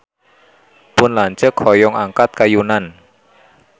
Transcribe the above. Pun lanceuk hoyong angkat ka Yunan